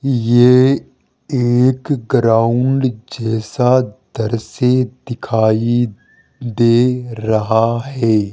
ये एक ग्राउंड जैसा द्रश्य दिखाई दे रहा है।